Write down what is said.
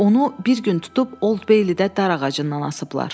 Onu bir gün tutub Old Beylidə darağacından asıblar.